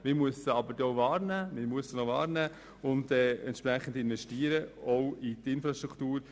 Doch man muss diese auch wahrnehmen und entsprechend investieren, auch in die Infrastruktur.